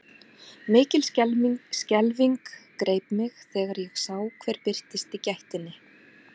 Mikil skelfing greip mig þegar ég sá hver birtist í gættinni.